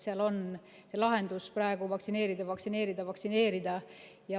Seal on lahendus vaktsineerida, vaktsineerida ja vaktsineerida.